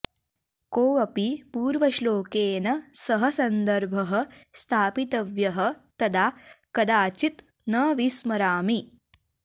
कोऽपि पूर्वश्लोकेन सह सन्दर्भः स्थापितव्यः तदा कदाचित् न विस्मरामि